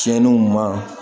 Tiɲɛniw ma